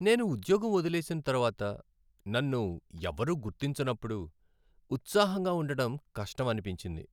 నేను ఉద్యోగం వదిలేసిన తర్వాత నన్ను ఎవరూ గుర్తించనప్పుడు ఉత్సాహంగా ఉండడం కష్టం అనిపించింది.